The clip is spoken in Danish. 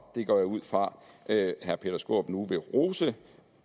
det går jeg ud fra at herre peter skaarup nu vil rose